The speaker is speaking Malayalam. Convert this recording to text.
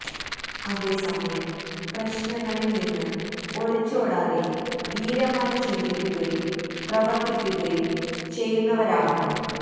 അതേ സമയം പ്രശ്നങ്ങളില് നിന്ന് ഒളിച്ചോടാതെ ധീരമായി ചിന്തിക്കുകയും പ്രവര്ത്തിക്കുകയും ചെയ്യുന്നവരാകണം